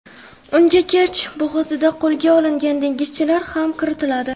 Unga Kerch bo‘g‘ozida qo‘lga olingan dengizchilar ham kiritiladi.